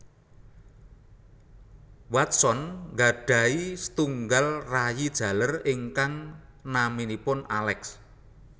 Watson nggadhahi setunggal rayi jaler ingkang naminipun Alex